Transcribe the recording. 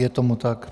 Je tomu tak.